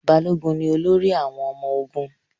Balógun ni olórí àwọn ọmọ ogun.